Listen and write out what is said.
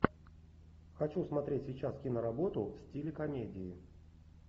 хочу смотреть сейчас киноработу в стиле комедии